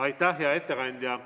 Aitäh, hea ettekandja!